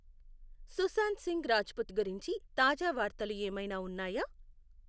సుశాంత్ సింగ్ రాజ్పుత్ గురించి తాజా వార్తలు ఏమైనా ఉన్నాయా